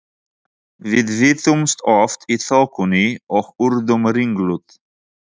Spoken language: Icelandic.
Við villtumst oft í þokunni og urðum ringluð.